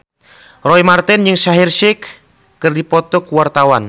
Roy Marten jeung Shaheer Sheikh keur dipoto ku wartawan